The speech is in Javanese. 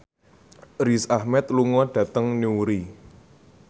Riz Ahmed lunga dhateng Newry